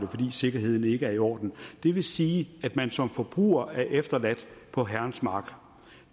fordi sikkerheden ikke er i orden det vil sige at man som forbruger er efterladt på herrens mark